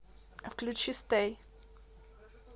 включи стэй